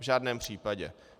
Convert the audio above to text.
V žádném případě.